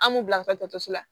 An m'u bila ka taa dɔgɔtɔrɔso la